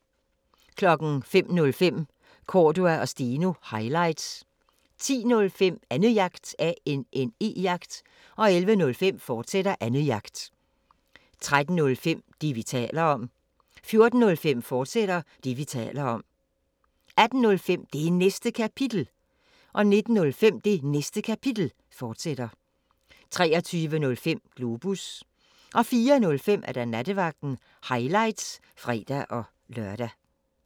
05:05: Cordua & Steno – highlights 10:05: Annejagt 11:05: Annejagt, fortsat 13:05: Det, vi taler om 14:05: Det, vi taler om, fortsat 18:05: Det Næste Kapitel 19:05: Det Næste Kapitel, fortsat 23:05: Globus 04:05: Nattevagten – highlights (fre-lør)